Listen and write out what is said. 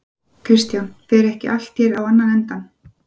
Kristján: Fer ekki allt hér á annan endann?